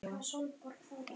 Karen: Af hverju?